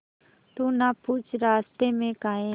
तू ना पूछ रास्तें में काहे